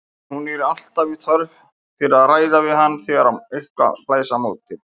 Hún er alltaf í þörf fyrir að ræða við hann þegar eitthvað blæs á móti.